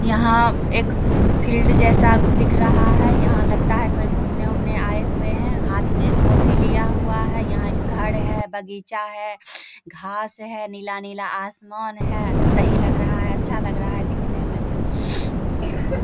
यहां एक फील्ड जैसा दिख रहा है। यहां लगता है कोई घूमने वूमने आए हुए हैं हाथ में कॉफी लिया हुआ है। यहां एक घर है बगीचा है घास है नीला-नीला आसमान है सही लग रहा है अच्छा लग रहा है दिखने में।